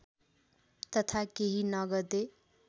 तथा केही नगदे